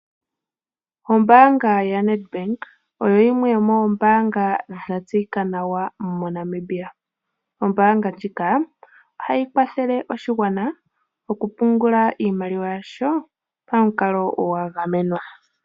Ombaanga yaNedbank oyo yimwe yomoombanga dhatseyika nawa moNamibia. Ombaanga ndjika ohayi kwathele oshigwana okupungula iimaliwa yasho pamukalo gwa gamenwa.